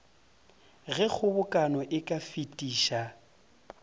ge kgobokano e ka fetiša